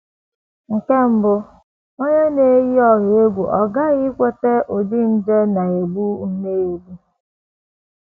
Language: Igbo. Nke mbụ, onye na - eyi ọha egwu aghaghị inweta ụdị nje na - egbu nnọọ egbu.